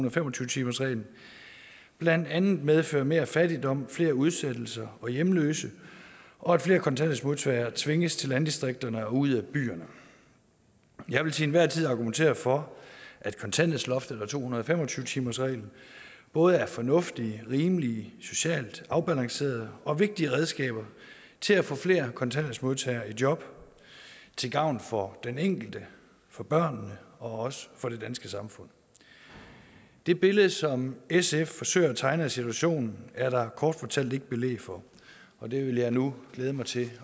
og fem og tyve timersreglen blandt andet medfører mere fattigdom flere udsættelser og hjemløse og at tvinges til landdistrikterne og ud af byerne jeg vil til enhver tid argumentere for at kontanthjælpsloftet og to hundrede og fem og tyve timersreglen både er fornuftige rimelige socialt afbalancerede og vigtige redskaber til at få flere kontanthjælpsmodtagere i job til gavn for den enkelte for børnene og også for det danske samfund det billede som sf forsøger at tegne af situationen er der kort fortalt ikke belæg for og det vil jeg nu glæde mig til